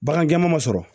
Bagan jɛman ma sɔrɔ